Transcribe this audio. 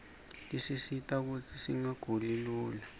tisisita kutsi singaguli lula